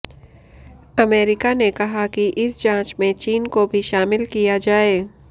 America ने कहा कि इस जांच में चीन को भी शामिल किया जाए